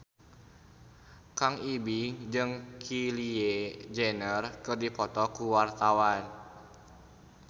Kang Ibing jeung Kylie Jenner keur dipoto ku wartawan